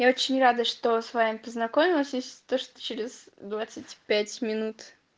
я очень рада что с вами познакомилась если то что через двадцать пять минут